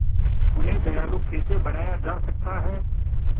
उन्हें दयालु कैसे बनाया जा सकता है